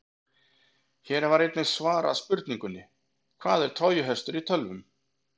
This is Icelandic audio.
Hér var einnig svarað spurningunni: Hvað er trójuhestur í tölvum?